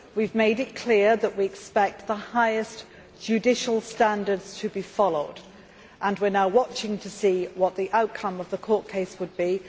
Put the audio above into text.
We have made it clear that we expect the highest judicial standards to be followed and we are now watching to see what the outcome of the court case will be.